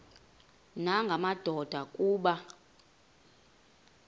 nanga madoda kuba